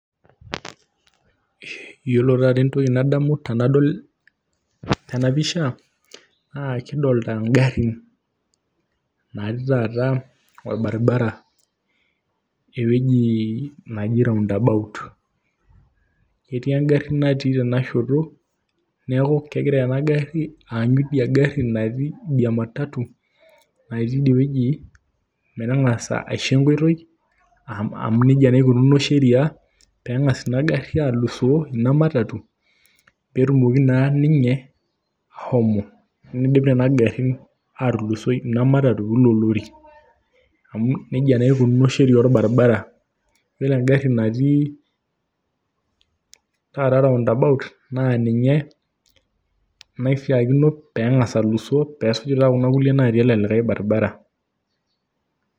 Yiolo taata entoki nadamu tenapisha naa kidolita ingarrin naatii taata orbaribara ewueji neji roundabout etii engarri natii tenasheto, neeku kegira ena garri aanyu idia matatu natii idie wueji pee eng'asa aisho enkoitoi amu neija naa ikununo sheria pee eng'as ina garri alusoo, ina matatu pee etumoki naa ninye ashomo, teniidip nena garrin aatulusoi ina matatu oilo lori amu neijia naa ejo sheria orbaribara.